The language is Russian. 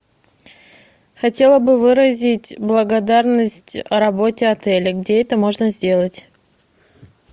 хотела бы выразить благодарность работе отеля где это можно сделать